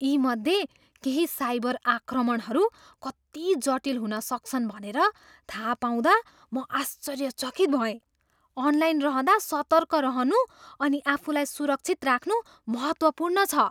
यी मध्ये केही साइबर आक्रमणहरू कति जटिल हुन सक्छन् भनेर थाहा पाउँदा म आश्चर्यचकित भएँ। अनलाइन रहँदा सतर्क रहनु अनि आफूलाई सुरक्षित राख्नु महत्त्वपूर्ण छ।